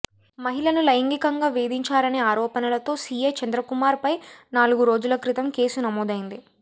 మహిళను లైంగికంగా వేధించారనే ఆరోపణలతో సీఐ చంద్రకుమార్ పై నాలుగు రోజుల క్రితం కేసు నమోదైంది